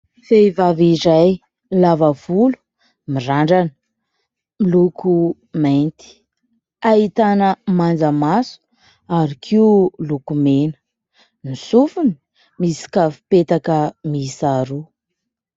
Vehivavy iray lava volo, mirandrana, miloko mainty, ahitana manjamaso ary koa lokomena, ny sofiny misy kavin-petaka mihisa roa.